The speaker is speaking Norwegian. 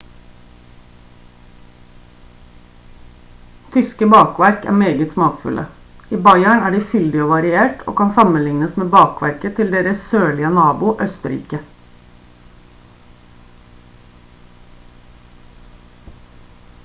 tyske bakverk er meget smakfulle i bayern er de fyldig og variert og kan sammenlignes med bakverket til deres sørlige nabo østerrike